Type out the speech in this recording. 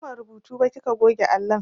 Ban gama rubutu ba kika goge allon.